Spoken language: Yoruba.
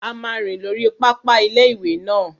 A máa rìn lórí pápá ilé-ìwé náà